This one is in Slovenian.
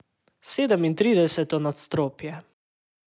Sedemintrideseto nadstropje!